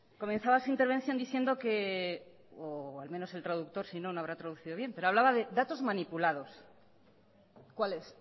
comenzaba su intervención diciendo que o al menos el traductor si no lo habrá traducido bien pero hablaba de datos manipulados cuáles